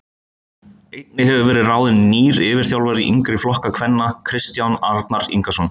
Einnig hefur verið ráðin nýr yfirþjálfari yngri flokka kvenna Kristján Arnar Ingason.